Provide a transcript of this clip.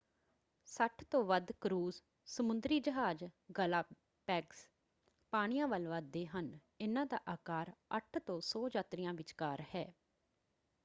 60 ਤੋਂ ਵੱਧ ਕਰੂਜ਼ ਸਮੁੰਦਰੀ ਜਹਾਜ਼ ਗਲਾਪੈਗਸ ਪਾਣੀਆਂ ਵੱਲ ਵੱਧਦੇ ਹਨ – ਇਹਨਾਂ ਦਾ ਆਕਾਰ 8 ਤੋਂ 100 ਯਾਤਰੀਆਂ ਵਿਚਕਾਰ ਹੈ।